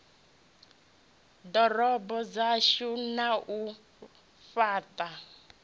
ḓorobo dzashu na u fhaṱha